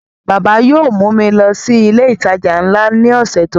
Bàbá yóò mú mi lọ sí ilé ìtajà nla ní ọ̀sẹ̀ tó ń bọ̀